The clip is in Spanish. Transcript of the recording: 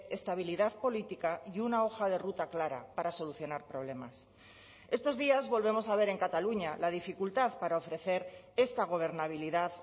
estabilidad política y una hoja de ruta clara para solucionar problemas estos días volvemos a ver en cataluña la dificultad para ofrecer esta gobernabilidad